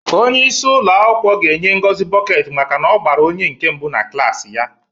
Onye isi ụlọ akwụkwọ ga-enye Ngozi bọket maka na-ọgbara one nke mbụ na klaasị ya.